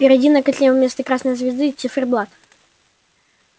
впереди на котле вместо красной звезды циферблат